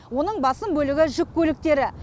оның басым бөлігі жүк көліктері